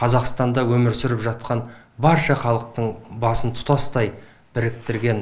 қазақстанда өмір сүріп жатқан барша халықтың басын тұтастай біріктірген